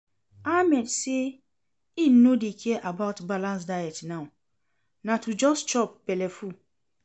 Ahmed say im no dey care about balanced diet now, na to just chop belleful